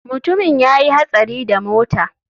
Mutumin ya yi hatsari da mota.